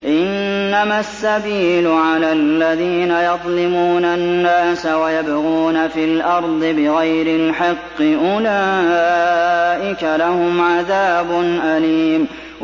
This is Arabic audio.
إِنَّمَا السَّبِيلُ عَلَى الَّذِينَ يَظْلِمُونَ النَّاسَ وَيَبْغُونَ فِي الْأَرْضِ بِغَيْرِ الْحَقِّ ۚ أُولَٰئِكَ لَهُمْ عَذَابٌ أَلِيمٌ